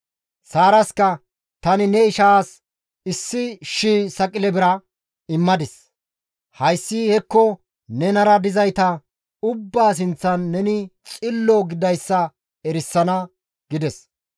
Saaraska, «Tani ne ishaas issi shii saqile bira immadis; hayssi hekko nenara dizayta ubbaa sinththan neni xillo gididayssa erisana» gides.